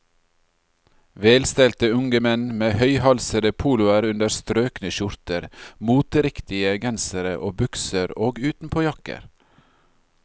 Velstelte unge menn med høyhalsede poloer under strøkne skjorter, moteriktige gensere og bukser og utenpåjakker.